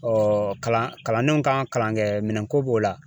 kalan kalandenw kan kalankɛminɛn ko b'o la